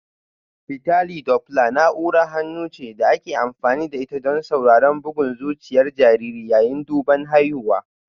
Fitali Dopla na'urar hannu ce da ake amfani da ita don sauraron bugun zuciyar jariri yayin duban haihuwa